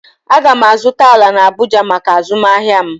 Aga m azụta ala na Abụja maka azụmahịa m